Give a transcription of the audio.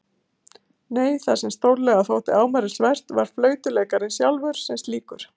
Nei, það sem stórlega þótti ámælisvert var flautuleikurinn sjálfur sem slíkur.